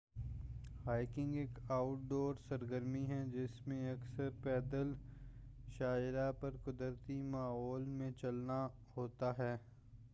hiking ایک outdoor سرگرمی ہے جس میں اکثر پیدل شاہراہ پر قدرتی ماحول میں چلنا ہوتا ہے